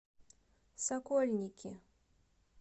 сокольники